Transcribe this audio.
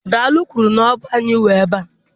Dale kwuru Ọ anyị nwe ebe a.